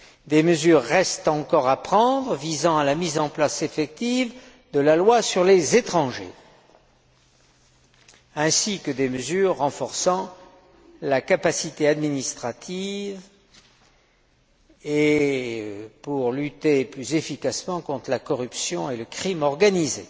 Des mesures restent encore à prendre, visant à la mise en place effective de la loi sur les étrangers, ainsi que des mesures renforçant la capacité administrative et destinées à lutter plus efficacement contre la corruption et la criminalité organisée.